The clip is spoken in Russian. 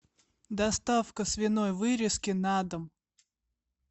доставка свиной вырезки на дом